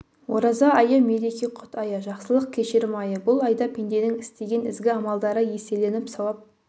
ораза айы мереке құт айы жақсылық кешірім айы бұл айда пенденің істеген ізгі амалдары еселеніп сауап